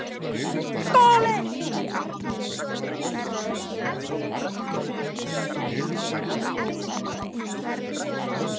SKÚLI: Þér reynduð að meina mér að sækja